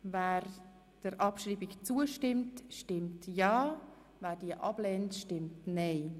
Wer der Abschreibung zustimmt, stimmt ja, wer sie ablehnt stimmt nein.